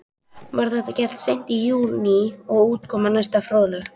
Var þetta gert seint í júní og útkoman næsta fróðleg.